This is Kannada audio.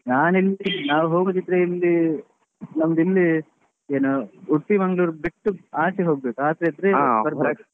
ನಾನ್ ಎನಿಸಿದ್ದು ನಾವ್ ಹೋಗುದಿದ್ರೆ ಇಲ್ಲಿ ನಮ್ದು ಇಲ್ಲೇ ಏನೋ Udupi Manglore ಬಿಟ್ಟು ಆಚೆ ಹೋಗ್ಬೇಕು ಆಚೆ ಆದ್ರೆ .